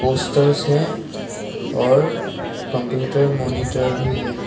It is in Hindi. उस तरफ से और कंप्यूटर मॉनिटर भी है।